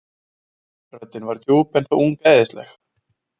Röddin var djúp en þó ungæðisleg.